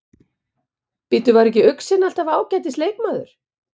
Bíddu, var ekki Uxinn alltaf ágætis leikmaður?